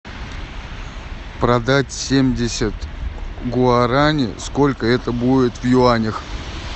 продать семьдесят гуарани сколько это будет в юанях